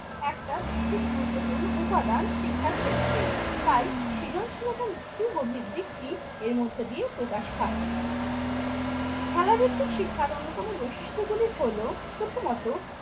একটা বিশেষ গুরুত্বপূর্ণ উপাদান শিক্ষার ক্ষেত্রে। তাই সৃজনশীলতার সু গভীর দিকটি এর মধ্যে দিয়ে প্রকাশ পায়। খেলাভিত্তিক শিক্ষার অন্যতম বৈশিষ্ট্যগুলি হল প্রথমত